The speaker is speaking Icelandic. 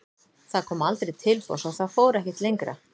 Það koma aldrei tilboð svo það fór ekkert lengra.